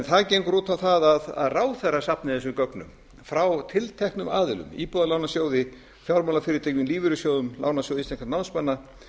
það gengur út á það að ráðherra safni þessum gögnum frá tilteknum aðilum íbúðalánasjóði fjármálafyrirtækjum lífeyrissjóðum lánasjóði íslenskra námsmanna